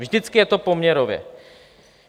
Vždycky je to poměrově.